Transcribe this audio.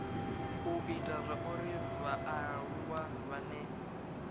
u ita zwauri vhaaluwa vhane